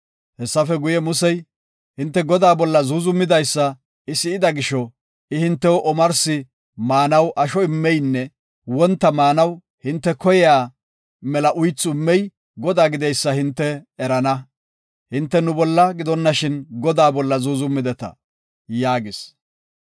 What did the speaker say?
Hessafe guye, Musey, “Hinte Godaa bolla zuuzumidaysa I si7ida gisho, I hintew omarsi maanaw asho immeynne wonta maanaw hinte koyiya mela uythu immey Godaa gideysa hinte erana. Hinte nu bolla gidonashin Godaa bolla zuuzumeta” yaagis.